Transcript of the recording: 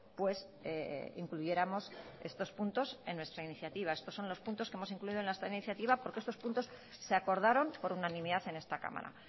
pues incluyéramos estos puntos en nuestra iniciativa estos son los puntos que hemos incluido en nuestra iniciativa porque estos puntos se acordaron por unanimidad en esta cámara